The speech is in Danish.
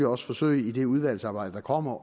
også forsøge i det udvalgsarbejde der kommer